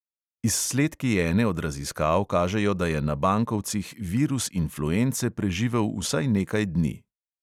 Izsledki ene od raziskav kažejo, da je na bankovcih virus influence preživel vsaj nekaj dni.